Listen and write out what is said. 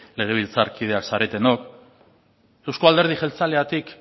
legebiltzar kideak zaretenok euzko alderdi jeltzaleatik